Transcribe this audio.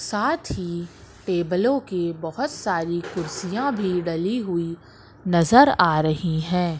साथ ही टेबलों की बहुत सारी कुर्सियां भी डली हुई नजर आ रही हैं।